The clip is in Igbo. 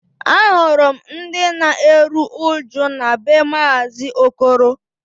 Ahụrụ m ndị na-eru uju na be maazi Okoro